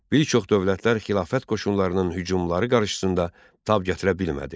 Bir çox dövlətlər xilafət qoşunlarının hücumları qarşısında tab gətirə bilmədi.